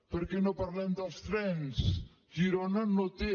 per què no parlem dels trens girona no té